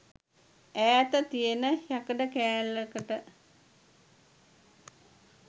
ඈත තියෙන යකඩ කෑල්ලකට